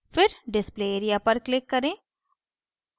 display area पर click करें